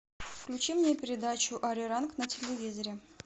включи мне передачу ариранг на телевизоре